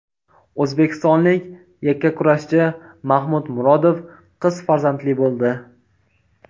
O‘zbekistonlik yakkakurashchi Mahmud Murodov qiz farzandli bo‘ldi.